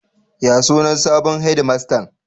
Ya sunan sabon hedimastan?